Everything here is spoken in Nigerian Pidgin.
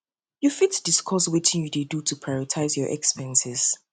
you fit discuss wetin you dey do to prioritize your expenses